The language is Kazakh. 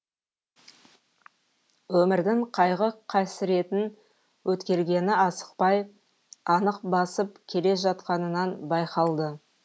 өмірдің қайғы қасіретін өткергені асықпай анық басып келе жатқанынан байқалды